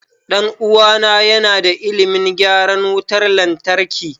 Ɗan uwana yana da ilimin gyaran wutar lantarki.